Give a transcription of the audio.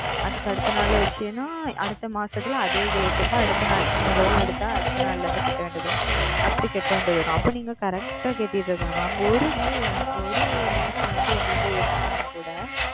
அதற்கு அடுத்த நாள் வைத்து என்றால் அடுத்த மாதத்திற்கு அதே Date க்கு அடுத்த நாள் நீங்கள் Loan எடுத்த அடுத்த நாள் செலுத்த வேண்டும் அப்பொழுது நீங்கள் Correct ஆ செலுத்த வேண்டும் ஓர் Due வந்து ஓர் மாதம் வந்து உங்களுக்கு இது ஆனால் கூட